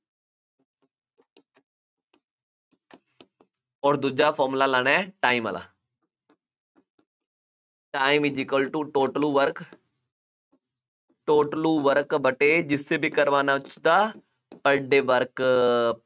ਅੋਰ ਦੂਜਾ formula ਲਾਉਣਾ ਹੈ, time ਵਾਲਾ time is equal to total work ਟੋਟਲੂ work ਵਟੇ ਜਿਸ ਤੇ ਵੀ ਕਰਵਾਉਣਾ ਉਹ ਸਿੱਧਾ per day work